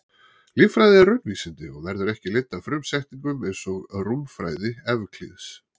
Líffræði er raunvísindi og verður ekki leidd af frumsetningum eins og rúmfræði Evklíðs.